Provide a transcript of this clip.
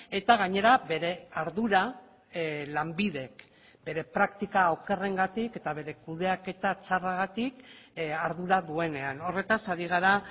eta gainera bere ardura lanbidek bere praktika okerrengatik eta bere kudeaketa txarragatik ardura duenean horretaz ari gara